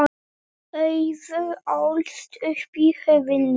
Auður ólst upp í Höfnum.